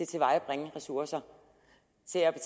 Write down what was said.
tilvejebringe ressourcer